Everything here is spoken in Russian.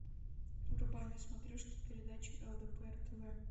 врубай на смотрешке передачу лдпр тв